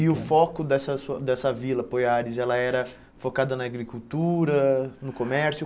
E o foco dessa su dessa vila, Poiares, ela era focada na agricultura, no comércio?